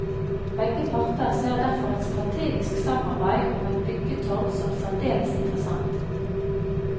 Begge parter ser derfor et strategisk samarbeid om et byggetorg som særdeles interessant.